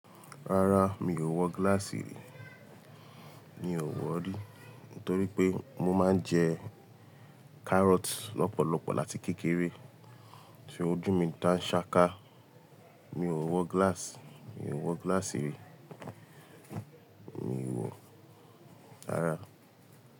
Rárá mi ò wọ glass rí, mi ò wọ̀ rí. Nítorí pé mo máa ń jẹ carrot lọ́pọ̀lọpọ̀ láti kékeré, tí ojú mi dá ṣáká. Mi ò wọ glass, mi ò wọ glass rí, mi ò wọ̀. Rárá.